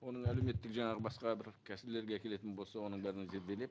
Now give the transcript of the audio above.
оның әлеуметтік жаңағы басқа бір келетін болса оның бәрін зерделеп